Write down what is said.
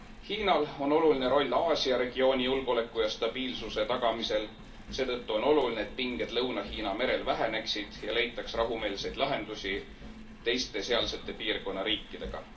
Hiinal on oluline roll Aasia regiooni julgeoleku ja stabiilsuse tagamisel, seetõttu on oluline, et pinged Lõuna Hiina merel väheneksid ja leitaks rahumeelseid lahendusi teiste sealsete piirkonna riikidega.